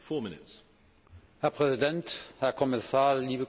Herr Präsident, Herr Kommissar, liebe Kolleginnen und Kollegen!